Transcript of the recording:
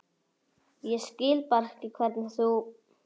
Ég skil bara ekki hvernig þú.